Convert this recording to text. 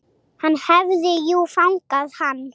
Hann hafði jú fangað hann.